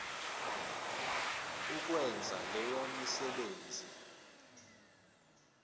ukwenza leyo misebenzi